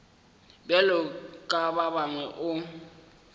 bjalo ka ba bangwe o